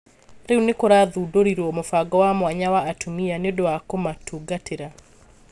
rĩu nĩkũrathũndorirwo mũbango wa mwanya wa atumia nĩũndũ wa kumatungatira